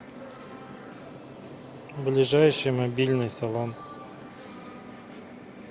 ближайший мобильный салон